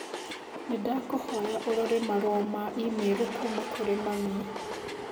Nĩndakũhoya ũrore marũa ma i-mīrū kuuma kũrĩ mami.